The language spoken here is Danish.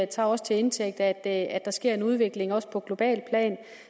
tager også til indtægt at at der sker en udvikling også på globalt plan